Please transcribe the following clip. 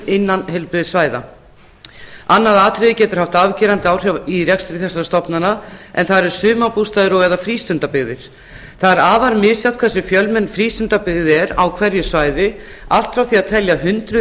innan heilbrigðissvæða annað atriði getur haft afgerandi áhrif í rekstri þessara stofnana en það eru sumarbústaðir og eða frístundabyggðir það er afar misjafnt hversu fjölmenn frístundabyggð er á hverju svæði allt frá því að telja hundruð